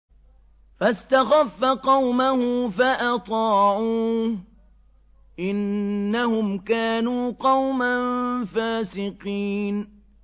فَاسْتَخَفَّ قَوْمَهُ فَأَطَاعُوهُ ۚ إِنَّهُمْ كَانُوا قَوْمًا فَاسِقِينَ